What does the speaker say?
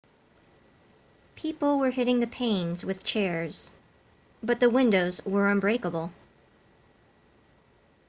people were hitting the panes with chairs but the windows were unbreakable